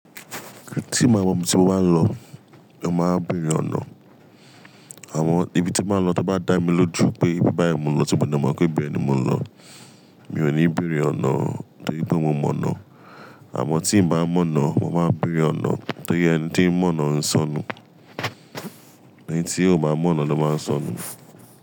Tí ì báa mo ibi tí mo bá lọ, mo máa béèrè ọ̀nà. Àmọ́ ibi tí mo báa ń lọ tí ó bá dá mi lójú pé bí báyìí mo ń lọ tí mo de mo pé ibè ní mo ń lọ, mi ò ní béèrè ọ̀nà torí pé mo mọ̀ ọ̀nà. Àmọ́ tí m bá mọ̀ ọ̀nà, mo máa béèrè ọ̀nà torí ẹni tí ń mọ̀ ọ̀nà ń sọnù. Ẹni tí ò bá mọ̀ ọ̀nà ló máa ń sọnù.